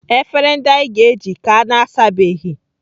Efere ndị anyị ga-eji ka na-asabeghị.